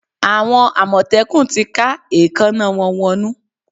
Àwọn àmọ̀tẹ́kùn ti ká èékáná wọn wọnnú.